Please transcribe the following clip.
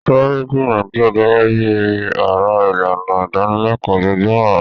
Sáré jìnnà díẹ̀ gẹ́gẹ́ bí ara ìlànà ìdánilẹ́kọ̀ọ́ ojoojúmọ́ rẹ.